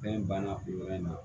Fɛn banna o yɔrɔ in na